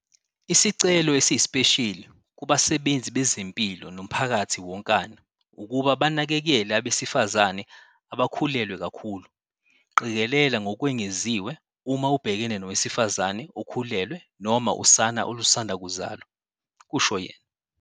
"Isicelo esiyisipesheli kubasebenzi bezempilo nomphakathi wonkana ukuba banakekele abesifazane abakhulelwe kakhulu. Qikelela ngokwengeziwe uma ubhekene nowesifazane okhulelwe noma usana olusanda kuzalwa," kusho yena.